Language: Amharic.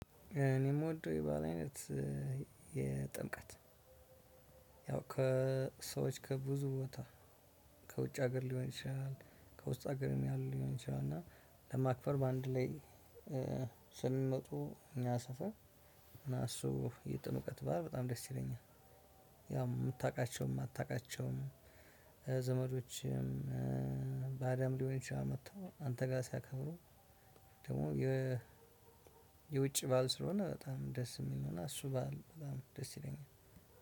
እኔ የምወደው የበአል አይነት የጥምቀት ያው ከሰዎች ከብዙ ቦታ ከውጭ ሀገር ሊሆን ይችላል ከውስጥ ሀገርም ያሉ ሊሆን ይችላል እና ለማክፈር በአንድ ላይ ስለሚመጡ እኛ ሰፈር እና እሱ የጥምቀት በዓል በጣም ደስ ይለኛል። ያው የምታውቃቸውም የማታውቃቸውም ዘመዶችም ባዳም ሊሆን ይችላል መጥተው አንተ ጋር ሲያከብሩ። ደግሞ የ የውጭ በዓል ስለሆነ በጣም ደስ የሚሆነው እሱ በዓል በጣም ደስ ይለኛል።